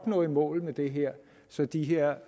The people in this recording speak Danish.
nå i mål med det her så de her